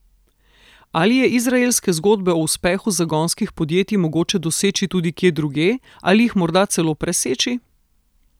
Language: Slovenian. Ali je izraelske zgodbe o uspehu zagonskih podjetij mogoče doseči tudi kje drugje ali jih morda celo preseči?